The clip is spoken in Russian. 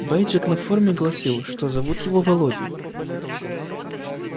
бейджик на форме гласил что зовут его володей